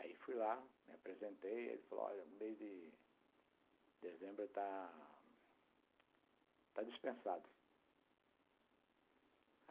Aí fui lá, me apresentei e ele falou, olha, mês de dezembro está dispensado.